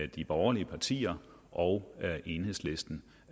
de borgerlige partier og enhedslisten